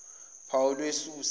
phawu lwe susa